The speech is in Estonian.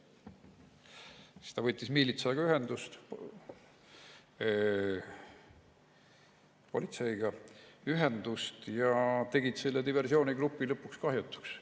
Siis ta võttis ühendust miilitsaga, politseiga, kes tegid selle diversioonigrupi lõpuks kahjutuks.